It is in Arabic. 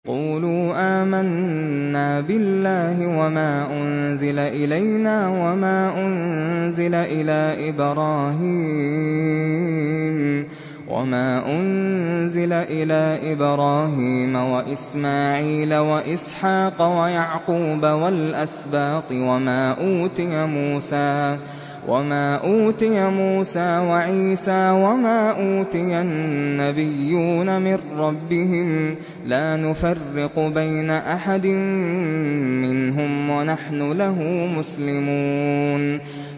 قُولُوا آمَنَّا بِاللَّهِ وَمَا أُنزِلَ إِلَيْنَا وَمَا أُنزِلَ إِلَىٰ إِبْرَاهِيمَ وَإِسْمَاعِيلَ وَإِسْحَاقَ وَيَعْقُوبَ وَالْأَسْبَاطِ وَمَا أُوتِيَ مُوسَىٰ وَعِيسَىٰ وَمَا أُوتِيَ النَّبِيُّونَ مِن رَّبِّهِمْ لَا نُفَرِّقُ بَيْنَ أَحَدٍ مِّنْهُمْ وَنَحْنُ لَهُ مُسْلِمُونَ